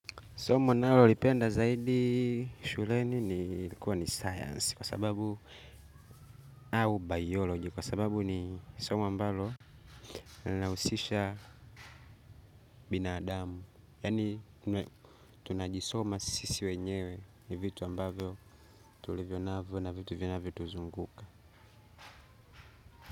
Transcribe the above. Somo nalolipenda zaidi shuleni ni kuwa ni science kwa sababu au biology kwa sababu ni somo ambalo linahusisha binadamu. Yaani tunajisoma sisi wenyewe ni vitu ambavyo tulivyonavyo na vitu vinavyotuzunguka.